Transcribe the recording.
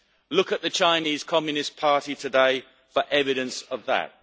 Look at the Chinese Communist Party today for evidence of that.